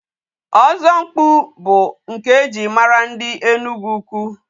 Ọzọmkpu bụ nke e ji mara ndị Enugwu-Ukwu.